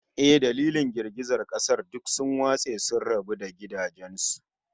Eh, dalilin girgizan kasar, duk sun watse sun rabu da gidajen su